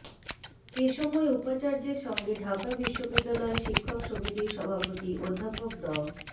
এসময় উপাচার্যের সঙ্গে ঢাকা বিশ্ববিদ্যালয় শিক্ষক সমিতির সভাপতি অধ্যাপক ড